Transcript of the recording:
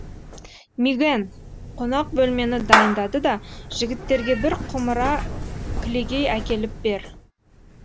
мигэн қонақ бөлмені дайында да жігіттерге бір құмыра кілегей әкеліп бер